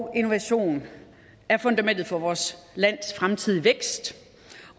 og innovation er fundamentet for vores lands fremtidige vækst